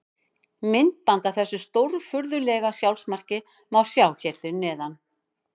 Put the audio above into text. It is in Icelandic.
Myndband af þessu stórfurðulega sjálfsmarki má sjá hér fyrir neðan.